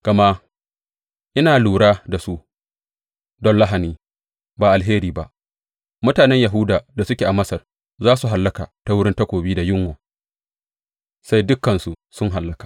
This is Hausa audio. Gama ina lura da su don lahani, ba alheri ba; mutanen Yahuda da suke a Masar za su hallaka ta wurin takobi da yunwa sai dukansu sun hallaka.